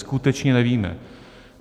Skutečně nevíme.